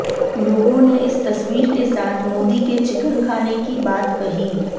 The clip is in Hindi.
लोगों ने इस तस्वीर के साथ मोदी के चिकन खाने की बात कही